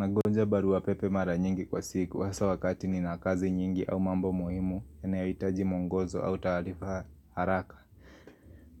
Nagonja barua pepe mara nyingi kwa siku hasaa wakati nina kazi nyingi au mambo muhimu yanayoitaji mwongozo au taarifa haraka.